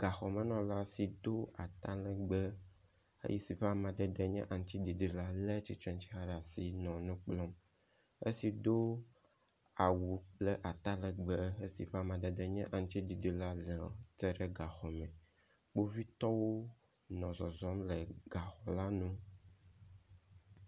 Gaxɔmenɔla si do atalegbe si ƒe amadede nye aŋtsiɖiɖi la le tsitrexa ɖe asi nɔ nu kplɔm. Esi do awu kple atalegbe esi ƒe amadede nye aŋtsiɖiɖi la tsitre ɖe gaxɔme. Kpovitɔwo nɔ zɔzɔm le gaxɔ la nu.